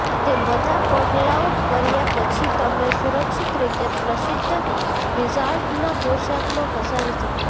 તે બધા પગલાઓ કર્યા પછી તમે સુરક્ષિત રીતે પ્રસિદ્ધ વિઝાર્ડના પોશાકમાં ફસાવી શકો છો